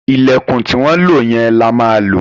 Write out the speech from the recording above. Ìlẹ̀kùn tí wọ́n lò yẹn la ma ma lò